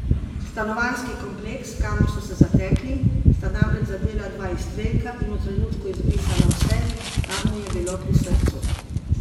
Stanovanjski kompleks, kamor so se zatekli, sta namreč zadela dva izstrelka in v trenutku izbrisala vse, kar mu je bilo pri srcu.